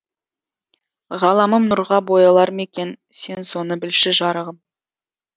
ғаламым нұрға боялар ма екен сен соны білші жарығым